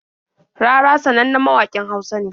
Rarara sanannen mawaƙin Hausa ne.